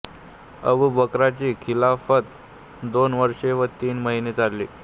अबू बक्राची खिलाफत दोन वर्षे व तीन महिने चालली